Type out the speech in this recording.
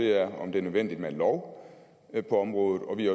er om det er nødvendigt med en lov på området og vi